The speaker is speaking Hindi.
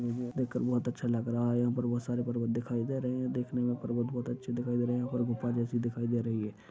मुझे ये देखकर में बहुत अच्छा लग रहा है यहां पर बहुत सारे पर्वत दिखाई दे रहे हैं देखने में पर्वत बहुत अच्छी दिखाई दे रहे हैं यहा पर गुफा जैसी दिखाई दे रही है।